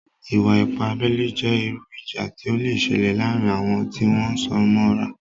Ìwà-ipá abẹ́lé jẹ́ irú ìjà tí ó le sẹlẹ̀ láàrin àwon tí wón súnmọ́ra